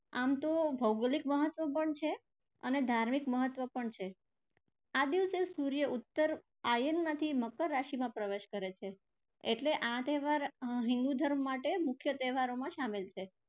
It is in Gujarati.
આમ તો ભૌગોલિક મહત્ત્વ પણ છે અને ધાર્મિક મહત્ત્વ પણ છે. આ દિવસે સૂર્ય ઉત્તર આયનમાંથી મકર રાશિમાં પ્રવેશ કરે છે એટલે આ તહેવાર હિંદુ ધર્મ માટે મુખ્ય તહેવારોમાં શામેલ છે.